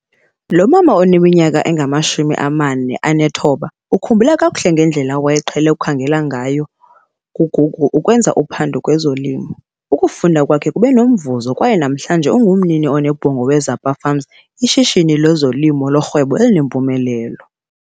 Lo mama oneminyaka engama-49 ukhumbula kakuhle ngedlela awayeqhele ukukhangela ngayo kuGoogle ukwenza uphando kwezolimo. Ukufunda kwakhe kube nomvuzo kwaye namhlanje, ungumnini onebhongo we-Zapa Farm, ishishini lezolimo lorhwebo elinempumelelo.